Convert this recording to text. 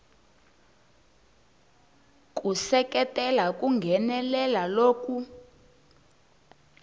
ku seketela ku nghenelela loku